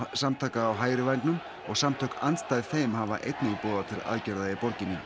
samtaka á hægri vængnum og samtök andstæð þeim hafa einnig boðað til aðgerða í borginni